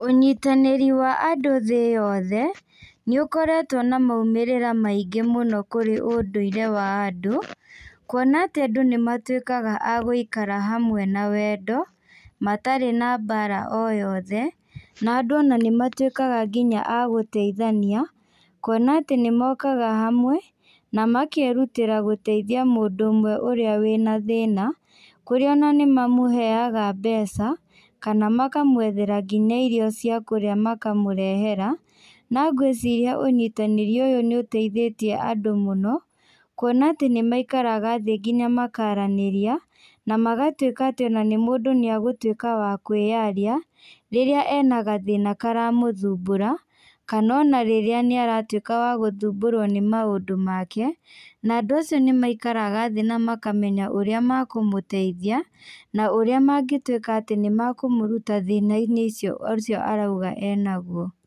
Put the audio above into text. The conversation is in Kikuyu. Ũnyitanĩri wa andũ thĩ yothe, nĩũkoretwo na maũmĩrĩra maingĩ mũno kũrĩ ũndũire wa andũ, kuona atĩ andũ nĩmatuĩkaga a gũikara hamwe na wendo, matarĩ na mbara o yothe, na andũ ona nĩmatuĩkaga nginya agũteithania, kuona atĩ nĩmokaga hamwe, na makerutĩra gũteithi mũndũ ũmwe ũrĩa wĩna thĩna, kũrĩa ona nĩmamũheaga mbeca, kana makamwethera nginya irio cia kũrĩa makamũrehera, na ngwĩciria ũnyitanĩri ũyũ nĩ ũteithĩtie andũ mũno, kuona atĩ nĩmaikaraga thĩ nginya makaranĩria, na magatuĩka atĩ ona nĩmũndũ nĩagũtuĩka wa kwĩyaria, rĩrĩa ena gathĩna karamũthumbũra, kana ona rĩrĩa nĩaratuĩka wa gũthumbũrwo nĩ maũndũ make, na andũ acio nĩmaikaraga thĩ namakamenya ũrĩa makũmũteithia, na ũrĩa mangĩtuĩka atĩ nĩmakũmũruta thĩnainĩ icio ũcio arauga enaguo.